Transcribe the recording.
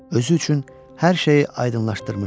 Özü üçün hər şeyi aydınlaşdırmışdı.